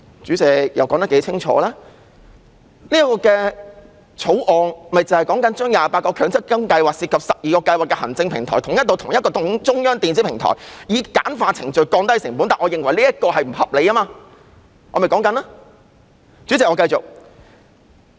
主席，《條例草案》訂明把28個強積金計劃涉及的12個計劃行政平台統一至同一個中央電子平台，以簡化程序，降低成本，但我認為這做法並不合理，而我正在陳述理由。